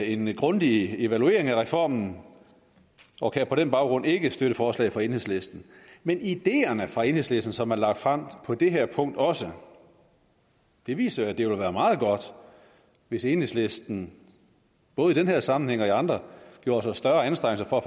en grundig evaluering af reformen og kan på den baggrund ikke støtte forslaget fra enhedslisten men ideerne fra enhedslisten som er lagt frem på det her punkt også og det viser jo at det vil være meget godt hvis enhedslisten både i den her sammenhæng og i andre gjorde sig større anstrengelser for